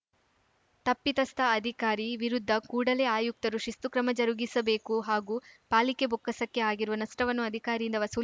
ತಪ್ಪಿತಸ್ಥ ಅಧಿಕಾರಿ ವಿರುದ್ಧ ಕೂಡಲೇ ಆಯುಕ್ತರು ಶಿಸ್ತು ಕ್ರಮ ಜರುಗಿಸಬೇಕು ಹಾಗೂ ಪಾಲಿಕೆ ಬೊಕ್ಕಸಕ್ಕೆ ಆಗಿರುವ ನಷ್ಟವನ್ನು ಅಧಿಕಾರಿಯಿಂದ ವಸೂಲ್